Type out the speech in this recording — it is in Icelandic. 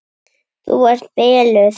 Þú ert biluð!